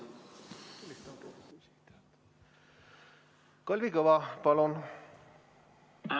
Kalvi Kõva, palun!